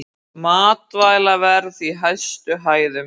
Matvælaverð í hæstu hæðum